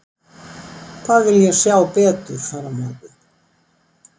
Hvað vil ég sjá betur fara á morgun?